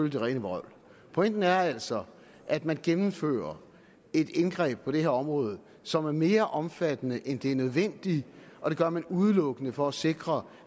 det rene vrøvl pointen er altså at man gennemfører et indgreb på det her område som er mere omfattende end det er nødvendigt og det gør man udelukkende for at sikre